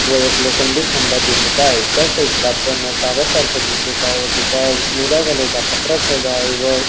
व एक लोखंडी खंबा दिसत आहे त्या साईड ला आपल्याला शाळा सारखं दिसत आहे व त्याच्यावर निळ्या कलर चा पत्रा ठेवला आहे व--